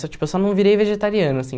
Eu tipo, eu só não virei vegetariano, assim.